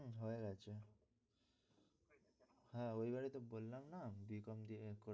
হয়ে গেছে হ্যাঁ ওই বারেই তো বললাম না বি কম